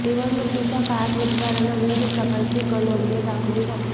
निवडणुकीच्या काळात मतदारांना विविध प्रकारची प्रलोभने दाखवली जातात